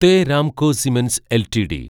the Ramco cements LTD